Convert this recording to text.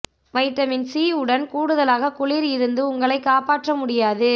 vitamin C உடன் கூடுதலாக குளிர் இருந்து உங்களை காப்பாற்ற முடியாது